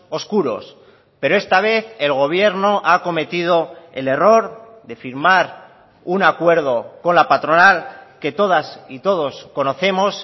oscuros pero esta vez el gobierno ha cometido el error de firmar un acuerdo con la patronal que todas y todos conocemos